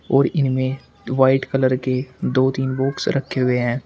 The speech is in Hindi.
और इनमें व्हाइट कलर के दो तीन बॉक्स रखे हुए है।